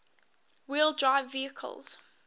wheel drive vehicles